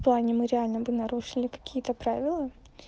плане мы реально бы нарушили какие-то правила